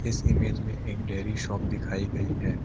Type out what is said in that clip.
इस इमेज में एक डेयरी शॉप दिखाई गई है।